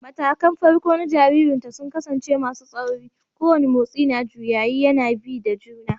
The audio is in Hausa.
Matakan farko na jaririnta sun kasance masu tsauri, kowane motsi na juyayi yana bi da juna